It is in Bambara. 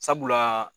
Sabula